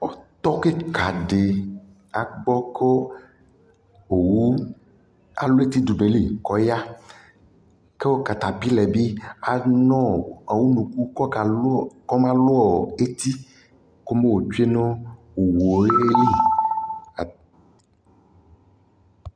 Ɔtɔ kika dι agbɔ kʋ owu alʋ eti dʋ nʋ ayʋ lι kʋ ɔya kʋ katapila yɛ bi anʋɔ unuku kʋ ɔmaluɔ eti kʋ ɔmatsue nʋ owu yɛ lι